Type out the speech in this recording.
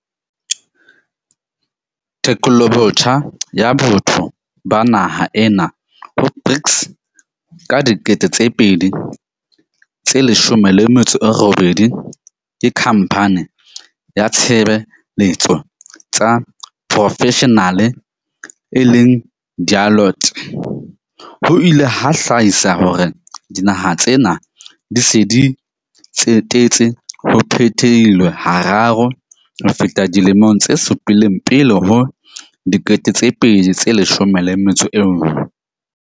Tekolobotjha ya botho ba naha ena ho BRICS ka 2018 ke khampane ya tshebe letso tsa profeshenale e leng Deloitte, ho ile ha hlahisa hore dinaha tsena di se di tsetetse ho phetilweng hararo ho feta dilemong tse supileng pele ho 2011.